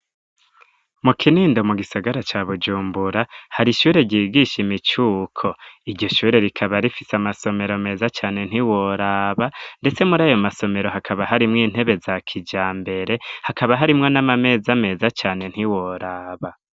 Mu Kinindo, mu gisagara ca Bujumbura, hari ishure, ryigisha imicuko; iryo shure, rikaba rifise amasomero meza cane, ntiworaba; ndetse muri ayo masomero, hakaba harimwo intebe, za kijambere, hakaba harimwo n'amameza, meza cane, ntiworaba.